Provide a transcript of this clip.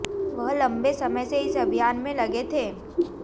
वह लंबे समय से इस अभियान में लगे थे